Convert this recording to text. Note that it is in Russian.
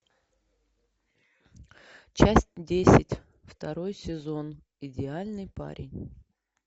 часть десять второй сезон идеальный парень